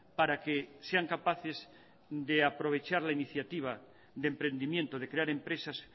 para que sean capaces de aprovechar la iniciativa de emprendimiento de crear empresas